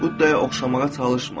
Buddaya oxşamağa çalışma.